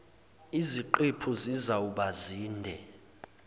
yiziqephu zizawuba zinde